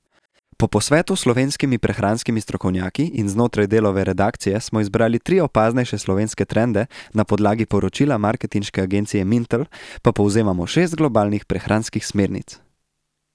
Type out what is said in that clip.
Po posvetu s slovenskimi prehranskimi strokovnjaki in znotraj Delove redakcije smo izbrali tri opaznejše slovenske trende, na podlagi poročila marketinške agencije Mintel pa povzemamo šest globalnih prehranskih smernic.